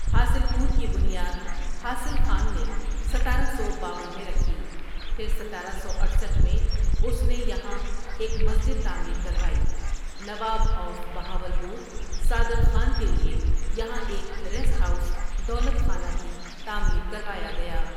حاصل پور کی بنیاد حاصل خان نے ستارہ سو باون میں رکھی پھر ستارہ سو اٹھسٹھ میں اس نے یہاں ایک مسجد تعمیر کروائی نواب آف بہاولپور صادق خان کے لیے یہاں ایک ریسٹ ہاؕوس دولت خانہ بھی تعمیر کروایا گیا ۔